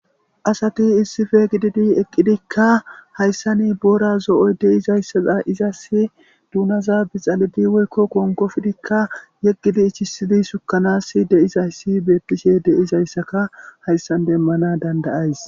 Asati issife gididi eqqidikka hayssa ni boora zo'o de izayssaza izas duunaza bixalidi woykko konkofdikka yeggidi ichisidi sukanas deizayssi beettishe deizayssaka hayssan demmana dandayays.